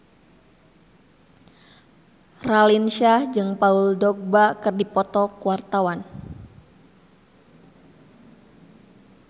Raline Shah jeung Paul Dogba keur dipoto ku wartawan